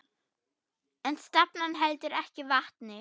En stefnan heldur ekki vatni.